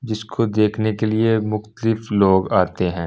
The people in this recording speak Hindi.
जिसको देखने के लिए मुक्तलिफ लोग आते हैं।